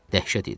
Dəhşət idi.